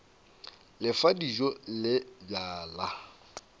le fa dijo le bjala